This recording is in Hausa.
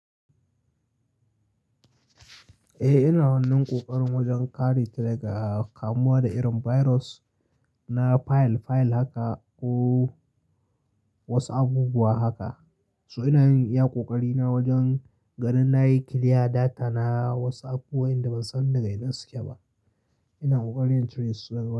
Eh, ina wannan ƙoƙarin wajen kare daga kamuwa da irin virus na file-file haka ko watsu abubuwa haka. So ina yin iya ƙoƙari na wajen gadin na yi clear data na WhatsApp wayanda ban san daga inda suke ba. Ina ƙoƙarin in cire su da ga.